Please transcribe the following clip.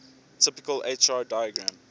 typical hr diagram